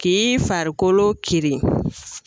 K'i farikolo kirin